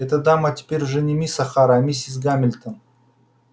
эта дама теперь уже не мисс охара а миссис гамильтон